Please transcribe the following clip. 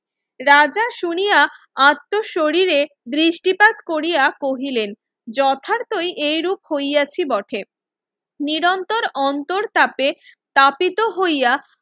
রাজা শুনিয়া আত্ম শরীরে দৃষ্টিপাত কোরিয়া কহিলেন যথাতোই এই রূপ খৈয়াছি বটে নিরন্তর অন্তর তাপে তাপিত হইয়া